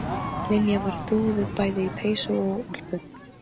Heldurðu að hann vinni kúluna pabbi?